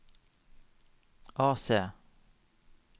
AC